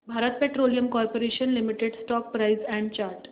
Bharat petroleum corporation limited stock price and chart